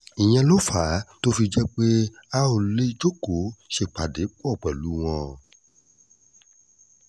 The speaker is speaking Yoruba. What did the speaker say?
ìyẹn ló fà á tó fi jẹ́ pé a ò lè jókòó ṣèpàdé pọ̀ pẹ̀lú wọn